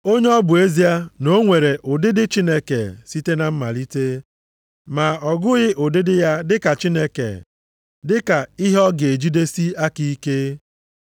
Onye ọ bụ ezie na o nwere ụdịdị Chineke site na mmalite ma ọ gụghị ụdịdị ya dị ka Chineke dị ka ihe ọ ga-ejidesi aka ike.